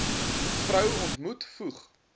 vrou ontmoet voeg